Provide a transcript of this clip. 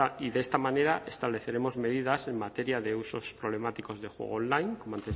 y de esta manera estableceremos medidas en materia de usos problemáticos de juego online como